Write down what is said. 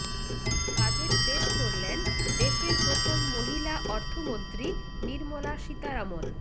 budget পেশ করলেন দেশের প্রথম মহিলা অর্থমন্ত্রী নির্মলা সীতারামন